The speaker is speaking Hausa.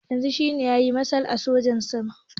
Yanzu shine eya mashal na sojin sama